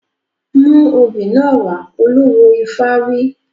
Mú obì náà wá! Olúwo ifá wí.